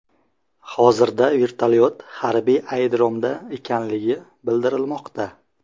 Hozirda vertolyot harbiy aerodromda ekanligi bildirilmoqda.